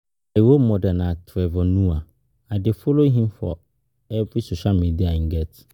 My role model na Trevor Noah, I dey follow him for for every social media im get